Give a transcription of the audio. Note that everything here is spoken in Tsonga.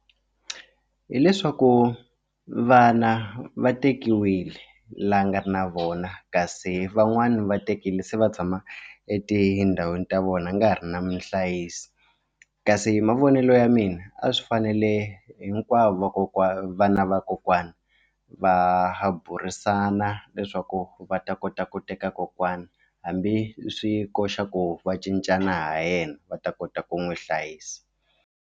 Hileswaku vana va tekiwile la a nga ri na vona kasi van'wani va tekile se va tshama etindhawini ta vona a nga ha ri na muhlayisi kasi hi mavonelo ya mina a swi fanele hinkwavo vana vakokwana va burisana leswaku va ta kota ku teka kokwana hambi swi koxa ku va cincana ha yena va ta kota ku n'wi hlayisa.